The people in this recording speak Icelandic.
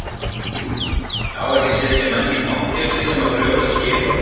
Á ekki að setja menn í fangelsi sem að brjóta skilorð?